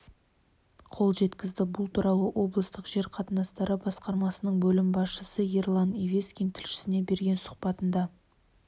қол жеткізді бұл туралы облыстық жер қатынастары басқармасының бөлім басшысы ерлан евескин тілшісіне берген сұхбатында